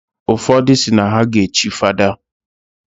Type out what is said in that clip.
Ụfodụ si na ha ga echi fada.